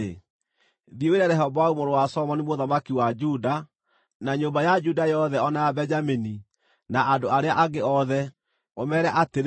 “Thiĩ wĩre Rehoboamu mũrũ wa Solomoni mũthamaki wa Juda, na nyũmba ya Juda yothe o na ya Benjamini na andũ arĩa angĩ othe, ũmeere atĩrĩ,